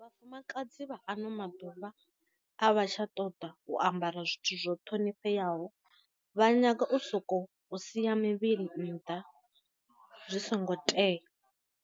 Vhafumakadzi vha ano maḓuvha a vha tsha ṱoḓa u ambara zwithu zwo ṱhonifheaho, vha nyaga u soko sia muvhili nnḓa zwi songo tea.